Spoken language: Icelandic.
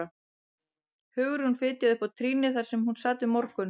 Hugrún fitjaði upp á trýnið þar sem hún sat við morgun